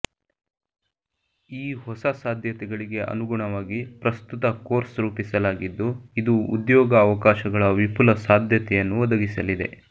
ಈ ಹೊಸ ಸಾಧ್ಯತೆಗಳಿಗೆ ಅನುಗುಣವಾಗಿ ಪ್ರಸ್ತುತ ಕೋರ್ಸ್ ರೂಪಿಸಲಾಗಿದ್ದು ಇದು ಉದ್ಯೋಗ ಅವಕಾಶಗಳ ವಿಫುಲ ಸಾಧ್ಯತೆಯನ್ನು ಒದಗಿಸಲಿದೆ